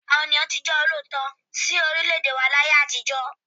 Àwọn ènìyàn tí ó jẹ́ olóòótọ́ sí orílẹ̀ẹ̀dè wà ní àtijọ́.